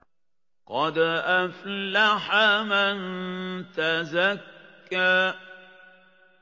قَدْ أَفْلَحَ مَن تَزَكَّىٰ